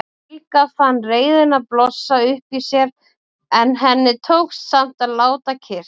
Helga fann reiðina blossa upp í sér en henni tókst samt að láta kyrrt.